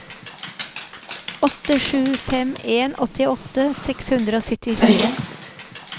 åtte sju fem en åttiåtte seks hundre og syttifire